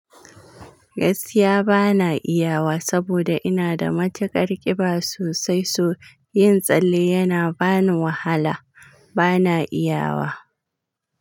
Gaskiya ba na iya wa saboda ina da matuƙar ƙiba sosai, so yin tsalle yana bani wahala. Ba na iya wa.